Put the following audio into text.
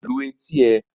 Lu etí ẹ!